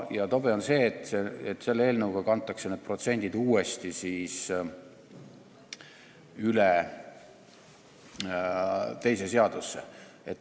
Ja tobe on see, et selle eelnõuga kantakse need protsendid üle teise seadusesse.